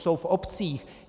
Jsou v obcích.